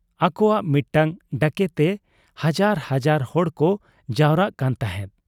ᱟᱠᱚᱣᱟᱜ ᱢᱤᱫᱴᱟᱹᱝ ᱰᱟᱠᱮᱛᱮ ᱦᱟᱡᱟᱨ ᱦᱟᱡᱟᱨ ᱦᱚᱲᱠᱚ ᱡᱟᱣᱨᱟᱜ ᱠᱟᱱ ᱛᱟᱦᱮᱸᱫ ᱾